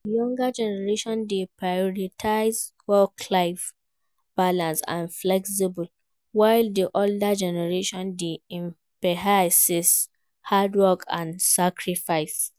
Di younger generation dey prioritize work-life balance and flexibility, while di older generation dey emphasis hard work and sacrifice.